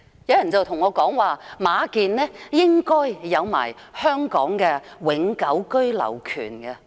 有人告訴我，馬建應該有香港的永久居留權。